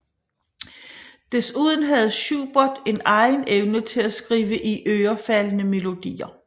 Desuden havde Schubert en egen evne til at skrive iørefaldende melodier